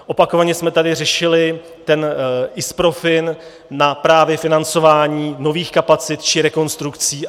Opakovaně jsme tady řešili ten ISPROFIN na právě financování nových kapacit či rekonstrukcí.